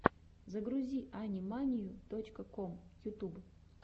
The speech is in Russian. загрузи ани манию точка ком ютуб